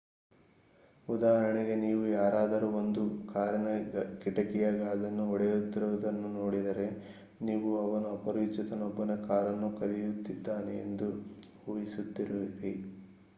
ಉದಾಹರಣೆಗೆ ನೀವು ಯಾರಾದರು ಒಂದು ಕಾರಿನ ಕಿಟಕಿಯ ಗಾಜನ್ನು ಒಡೆಯುತ್ತಿರುವುದನ್ನು ನೋಡಿದರೆ ನೀವು ಅವನು ಅಪರಿಚಿತನೊಬ್ಬನ ಕಾರನ್ನು ಕದಿಯುತಿದ್ದಾನೆ ಎಂದು ಊಹಿಸುತ್ತೀರಿ